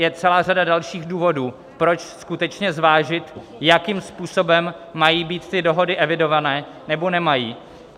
Je celá řada dalších důvodů, proč skutečně zvážit, jakým způsobem mají být ty dohody evidované, nebo nemají.